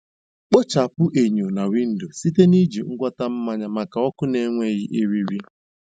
Kpochapụ enyo na windo site na iji ngwọta mmanya maka ọkụ na-enweghị eriri.